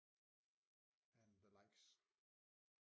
And the likes